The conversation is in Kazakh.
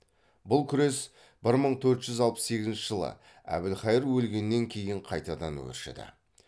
бұл күрес бір мың төрт жүз алпыс сегізінші жылы әбілхайыр өлгеннен кейін қайтадан өршіді